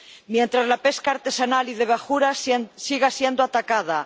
mientras la pesca artesanal y de bajura siga siendo atacada